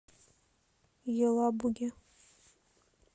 елабуге